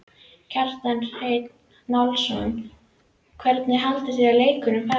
Kjartan Hreinn Njálsson: Hvernig haldið þið að leikurinn fari?